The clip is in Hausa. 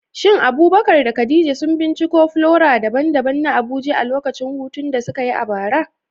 Shin Abubakar da Khadija sun binciko flora daban-daban na Abuja a lokacin hutun da suka yi a bara?